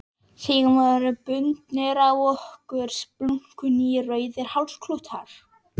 Síðan voru bundnir á okkur splunkunýir rauðir hálsklútar.